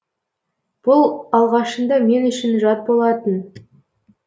бұл алғашында мен үшін жат болатын